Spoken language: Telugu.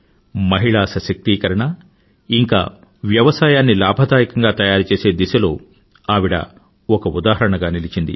మహిళా సశక్తీకరణ ఇంకా వ్యవసాయాన్ని లాభధాయకంగా తయారుచేసే దిశలో ఆవిడ ఒక ఉదాహరణగా నిలిచింది